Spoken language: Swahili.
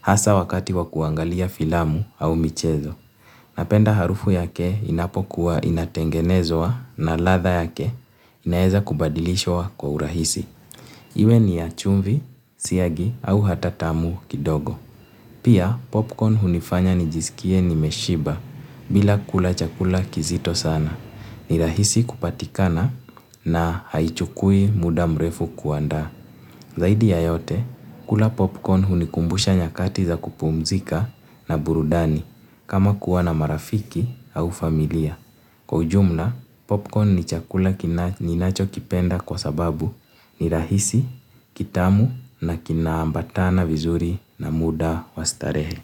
hasa wakati wa kuangalia filamu au michezo. Napenda harufu yake inapokuwa inatengenezwa na ladha yake inaeza kubadilishwa kwa urahisi. Iwe ni ya chumvi, siagi au hata tamu kidogo. Pia popcorn hunifanya nijisikie nimeshiba bila kula chakula kizito sana. Ni rahisi kupatikana na haichukui muda mrefu kuandaa. Zaidi ya yote, kula popcorn hunikumbusha nyakati za kupumzika na burudani kama kuwa na marafiki au familia. Kwa ujumla, popcorn ni chakula ninachokipenda kwa sababu ni rahisi, kitamu na kinaambatana vizuri na muda wa starehe.